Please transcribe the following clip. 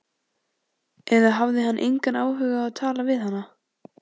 Eða hafði hann engan áhuga á að tala við hana?